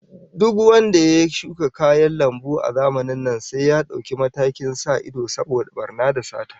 Duk wanda ya shuka kayan lambu a zamanin nan sai ya dauki matakin sa ido saboda barna da sata